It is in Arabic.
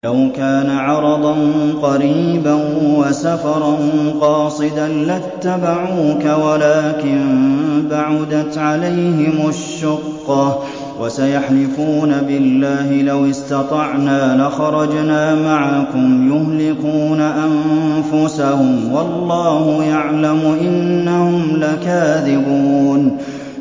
لَوْ كَانَ عَرَضًا قَرِيبًا وَسَفَرًا قَاصِدًا لَّاتَّبَعُوكَ وَلَٰكِن بَعُدَتْ عَلَيْهِمُ الشُّقَّةُ ۚ وَسَيَحْلِفُونَ بِاللَّهِ لَوِ اسْتَطَعْنَا لَخَرَجْنَا مَعَكُمْ يُهْلِكُونَ أَنفُسَهُمْ وَاللَّهُ يَعْلَمُ إِنَّهُمْ لَكَاذِبُونَ